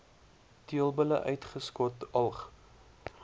teelbulle uitgeskot alg